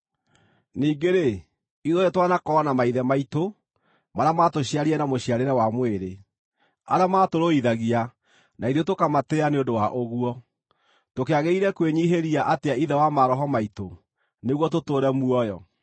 Ningĩ-rĩ, ithuothe twanakorwo na maithe maitũ marĩa maatũciarire na mũciarĩre wa mwĩrĩ, arĩa maatũrũithagia na ithuĩ tũkamatĩĩa nĩ ũndũ wa ũguo. Tũkĩagĩrĩire kwĩnyiihĩria atĩa Ithe wa maroho maitũ nĩguo tũtũũre muoyo!